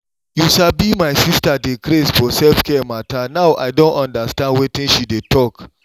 you sabi my sister dey craze for self-care matter now i don understand wetin she dey talk.